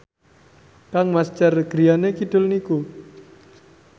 kangmas Cher griyane kidul niku